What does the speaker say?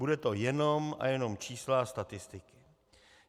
Budou to jenom a jenom čísla a statistiky.